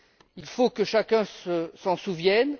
Il faut que chacun s'en souvienne.